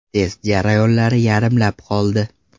Test jarayonlari yarimlab qoldi.